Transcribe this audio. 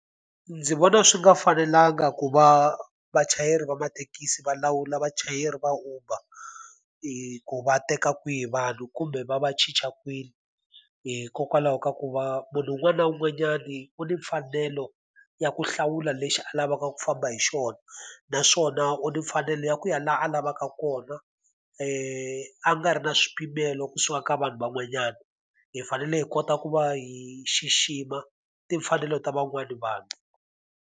Ndzi vona swi nga fanelanga ku va vachayeri va mathekisi va lawula vachayeri va Uber, ku va teka kwihi vanhu kumbe va va chicha kwini. Hikokwalaho ka ku va munhu un'wana na un'wanyani u ni mfanelo ya ku hlawula lexi a lavaka ku famba hi xona, naswona u na mfanelo ya ku ya laha a lavaka kona a nga ri na swipimelo kusuka ka vanhu van'wanyana. Hi fanele hi kota ku va hi xixima timfanelo ta van'wana vanhu.